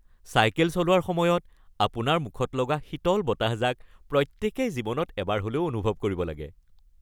Cycle চলোৱাৰ সময়ত আপোনাৰ মুখত লগা শীতল বতাহজাক প্ৰত্যেকেই জীৱনত এবাৰ হ’লেও অনুভৱ কৰিব লাগে।